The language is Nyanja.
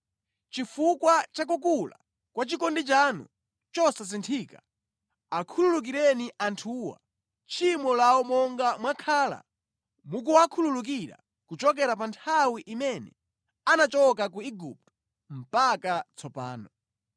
Chifukwa cha kukula kwa chikondi chanu chosasinthika, akhululukireni anthuwa tchimo lawo monga mwakhala mukuwakhululukira kuchokera pa nthawi imene anachoka ku Igupto mpaka tsopano.”